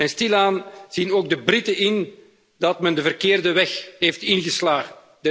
Stilaan zien ook de Britten in dat ze de verkeerde weg zijn ingeslagen.